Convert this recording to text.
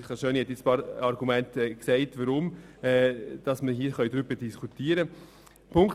Kollegin Schöni-Affolter hat auch gesagt, warum wir darüber diskutieren können.